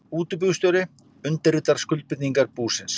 Útibússtjóri undirritar skuldbindingar búsins.